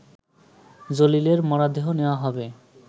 জলিলের মরদেহ নেয়া হবে